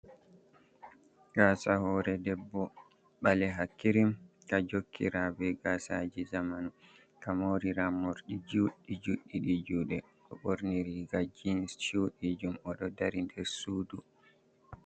Gasa hore ɗebbo ɓaleha kirim ka jokkira be gasaji zamanu, ka morira morɗi juɗi juɗi ɗi juɗe, oɗo ɓorni riga jens chuɗi jum, oɗo dari nder sudu.